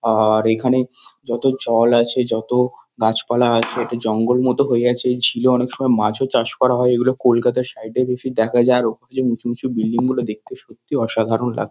আ-আ-র এখানে যত জল আছে যত গাছপালা আছে একটা জঙ্গল মতো হয়ে আছে ওই ঝিলে অনেক সময় মাছও চাষ করা হয় এইগুলো কলকাতার সাইড এ প্রচুর দেখা যায় আর ওখানে উঁচু উঁচু বিল্ডিং গুলো দেখতে সত্যিই অসাধারণ লা--